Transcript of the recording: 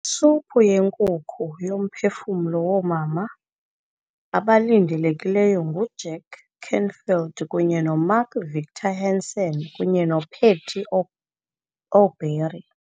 Isuphu yenkukhu yoMphefumlo woomama abalindelekileyo nguJack Canfield kunye noMark Victor Hansen kunye noPatty Aubery